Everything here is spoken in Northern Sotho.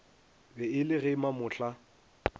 be e le ge mamohla